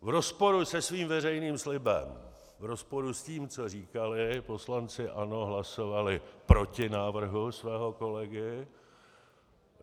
V rozporu se svým veřejným slibem, v rozporu s tím, co říkali, poslanci ANO hlasovali proti návrhu svého kolegy.